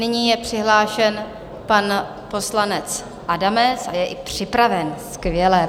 Nyní je přihlášen pan poslanec Adamec a je i připraven, skvělé.